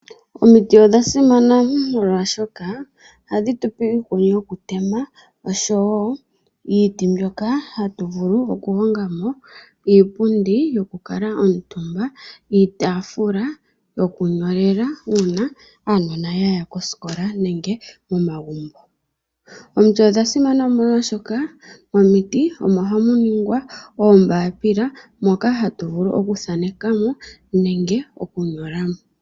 Omiti odha simana molwaashoka ohadhi tupe iikuni yoku tema oshowo iiti mbyoka hatu vulu oku longa mo iipundi yoku kala omutumba, iitafula yokunyolela uuna aanona yaya koosikola nenge momagumbo. Omiti odha simana omolwaashoka momiti omo ha mu ningwa oombaapila moka hatu vulu oku thaaneka mo nenge oku nyola mo.